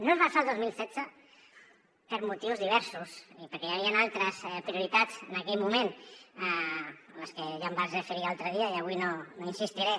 no es va fer el dos mil setze per motius diversos i perquè hi havien altres prioritats en aquell moment a les que ja em vaig referir l’altre dia i avui no hi insistiré